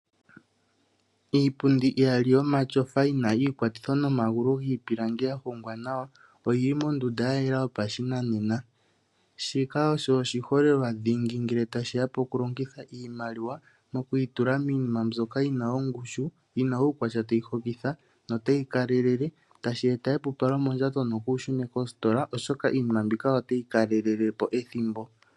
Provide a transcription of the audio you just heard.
Iipundi iyali yomatyofa yi na iikwatitho nomagulu giipilangi ya hongwa nawa, oyi li mondunda ya yela yopashinanena. Shika osho oshiholelwa dhingi ngele tashi ya pokulongitha iimaliwa moku yi tula miinima mbyoka yi na ongushu, yi na uukwatya tayi hokitha notayi kalele, tashi eta epupalo mondjato, nokuushune koositola oshoka iinima mbika otayi kalelele po ethimbo.